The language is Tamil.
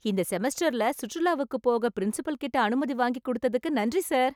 இந்த செமஸ்டர்ல சுற்றுலாவுக்கு போக பிரின்சிபல்கிட்ட அனுமதி வாங்கி கொடுத்ததுக்கு நன்றி சார்.